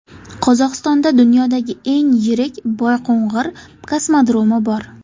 Qozog‘istonda dunyodagi eng yirik Boyqo‘ng‘ir kosmodromi bor.